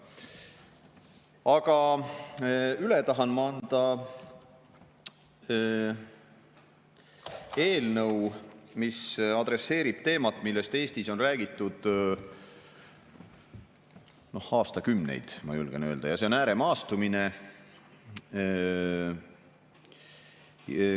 Aga ma tahan üle anda eelnõu, mis adresseerib teemat, millest Eestis on räägitud aastakümneid, ma julgen öelda – see on ääremaastumine.